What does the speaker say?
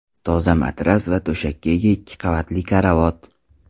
Toza matras va to‘shakka ega ikki qavatli karavot.